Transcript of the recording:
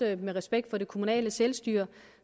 af respekt for det kommunale selvstyre